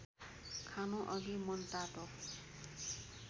खानुअघि मनतातो